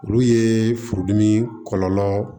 Olu ye furudimi kɔlɔlɔ